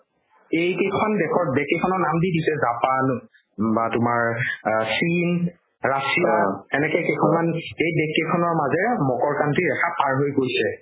এইকেইখন দেশত যেকেইখনৰ নাম দি দিছে জাপান বা তোমাৰ আ চীন ৰাছিয়া এনেকে কেইখনমান এইদেশ কেইখনৰ মাজেৰে মকৰক্ৰান্তি ৰেখা পাৰ হৈ গৈছে